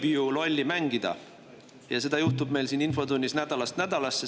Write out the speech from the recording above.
Võib ju lolli mängida ja seda juhtub meil siin infotunnis nädalast nädalasse.